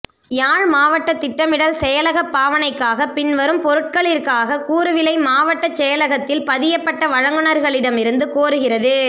யாழ் மாவட்டத் திட்டமிடல் செயலகப் பாவனைக்காக பின்வரும் பொருட்களிற்காக கூறுவிலை மாவட்டச் செயலகத்தில் பதியப்பட்ட வழங்குனர்களிடம் இருந்து கோருகிறது